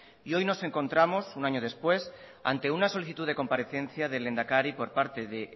y hoy nos encontramos un año después ante una solicitud de comparecencia del lehendakari por parte de